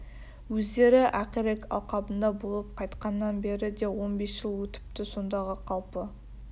өздері ақирек алқабында болып қайтқаннан бері де он бес жыл өтіпті сондағы қалпы